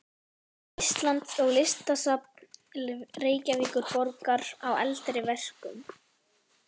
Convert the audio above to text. Íslands og Listasafns Reykjavíkurborgar á eldri verkum.